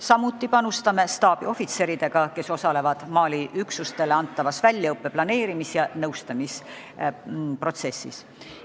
Samuti panustame staabiohvitseridega, kes osalevad Mali üksustele antava väljaõppe planeerimise ja nõustamise protsessis.